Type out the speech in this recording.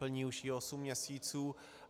Plní už ji osm měsíců.